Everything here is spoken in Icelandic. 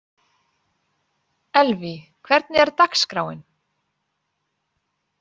Elvý, hvernig er dagskráin?